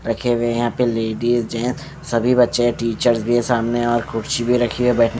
रखे हुए हैं यहां पे लेडिज जेंट्स सभी बच्चे है टीचर्स भी है सामने और कुर्सी भी रखी है बै--